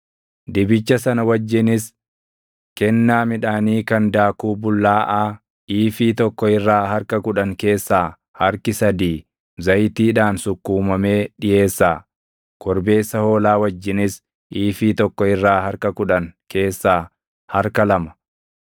Dibicha sana wajjinis kennaa midhaanii kan daakuu bullaaʼaa iifii tokko irraa harka kudhan keessaa harki sadii zayitiidhaan sukkuumamee dhiʼeessaa; korbeessa hoolaa wajjinis iifii tokko irraa harka kudhan keessaa harka lama,